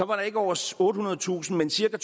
var der ikke over ottehundredetusind men cirka